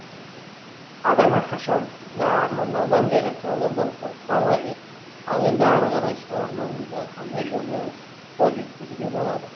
адам әрқашан да армандаудан және қиялдаудан қорықпау қажет ал енді ары қарай сол арманымызға қандай жолмен қол жеткізуге болады